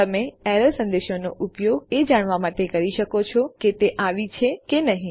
તમે એરર સંદેશાઓનો ઉપયોગ એ જાણવા માટે કરી શકો છો કે તે આવી છે કે આવી નથી